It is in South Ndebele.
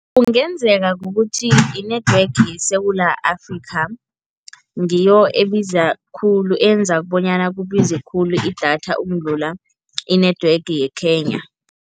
Kungenzeka kukuthi i-network yeSewula Afrika ngiyo ebiza khulu, enza bonyana kubize khulu idatha ukudlula i-network ye-Kenya.